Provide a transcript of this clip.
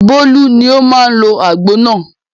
Bólú ni ó máa ń lo àgbo náà.